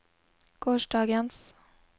gårsdagens